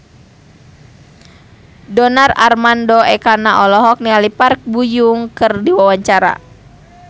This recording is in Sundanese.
Donar Armando Ekana olohok ningali Park Bo Yung keur diwawancara